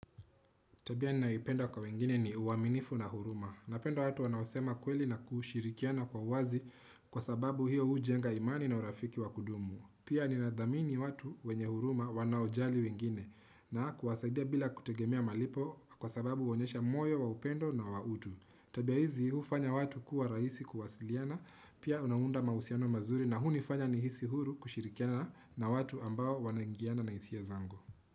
Tabia ninayoipenda kwa wengine ni uaminifu na huruma. Napenda watu wanaosema kweli na kushirikiana kwa wazi kwa sababu hiyo hujenga imani na urafiki wa kudumu. Pia ninadhamini watu wenye huruma wanaojali wengine na kuwasaidia bila kutegemea malipo kwa sababu huonyesha moyo wa upendo na wa utu. Tabia hizi hufanya watu kuwa rahisi kuwasiliana, pia unaunda mahusiano mazuri na hunifanya nihisi huru kushirikiana na watu ambao wanaingiana na hisia zangu.